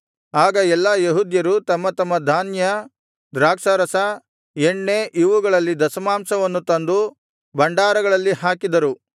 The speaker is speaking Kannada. ಆಗ ಎಲ್ಲಾ ಯೆಹೂದ್ಯರು ತಮ್ಮ ತಮ್ಮ ಧಾನ್ಯ ದ್ರಾಕ್ಷಾರಸ ಎಣ್ಣೆ ಇವುಗಳಲ್ಲಿ ದಶಮಾಂಶವನ್ನು ತಂದು ಭಂಡಾರಗಳಲ್ಲಿ ಹಾಕಿದರು